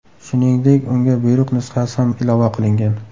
Shuningdek, unga buyruq nusxasi ham ilova qilingan.